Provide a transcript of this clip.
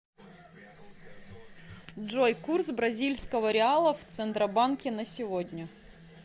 джой курс бразильского реала в центробанке на сегодня